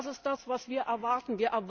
Das ist das, was wir erwarten!